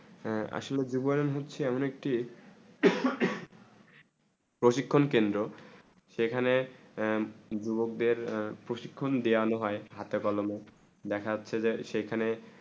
হেঁ আসলে যুবনয়ন হচ্ছেই একটি প্রশিক্ষণ কেন্দ্র সেখানে যুবক দের প্রশিক্ষণ দিয়েন হয়ে হাথে কলমে দেখা যাচ্ছে যে সেখানে